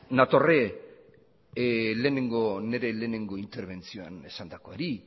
nator nire lehenengo interbentzioan esandakoari